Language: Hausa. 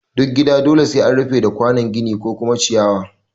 Duk gida dole sai an rufe da kwanon gini ko kuma ciyawa